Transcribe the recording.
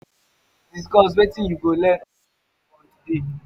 you fit discuss wetin you go learn or improve on for today?